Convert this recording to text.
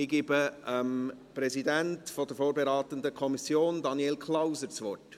Ich gebe dem Präsidenten der vorberatenden Kommission, Daniel Klauser, das Wort.